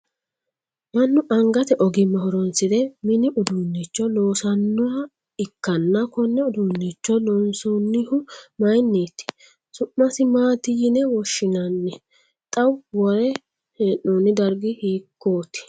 Manu angate ogimma horoonsire minni uduunnicho loosanoha ikanna konne uduunicho loonsoonnihu mayinniti? Su'masi maati yinne woshinnanni? Xa wore hee'noonni dargi hiikooti?